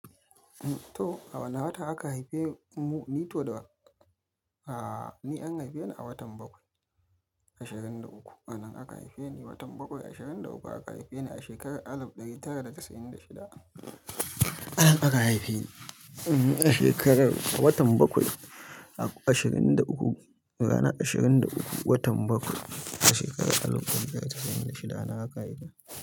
To, a wane wata aka haife mu? Ni to da, a, ni an haife ni a watan bakwai, ashirin da uku. A nan aka haife ni, watan bakwai, ashirin da uku aka haife ni a shekarar alif ɗari tara da casa'in da shida. Aka haife ni a shekarar, a watan bakwai, ashirin da uku, ranar ashirin da uku, watan bakwai a shekarar alif ɗari tara da casa'in da shida anan aka haife ni.